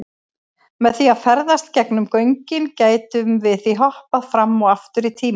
Með því að ferðast gegnum göngin gætum við því hoppað fram og aftur í tíma.